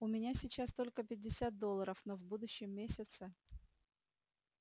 у меня сейчас только пятьдесят долларов но в будущем месяце